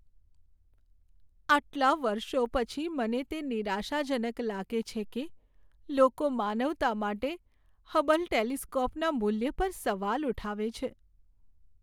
આટલા વર્ષો પછી, મને તે નિરાશાજનક લાગે છે કે લોકો માનવતા માટે હબલ ટેલિસ્કોપના મૂલ્ય પર સવાલ ઉઠાવે છે.